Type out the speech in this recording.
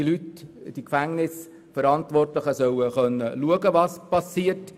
Die Verantwortlichen in den Gefängnissen sollen prüfen können, was in ihren Räumen passiert.